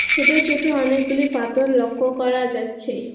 ছোট ছোট অনেকগুলি পাথর লক্ষ করা যাচ্ছে।